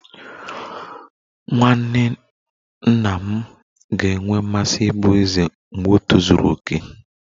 Nwanne nna m ga-enwe mmasị ịbụ eze mgbe o tozuru oke